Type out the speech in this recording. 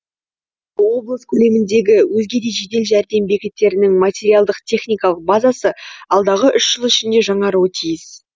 облыс көлеміндегі өзге де жедел жәрдем бекеттерінің материалдық техникалық базасы алдағы үш жыл ішінде жаңаруы тиіс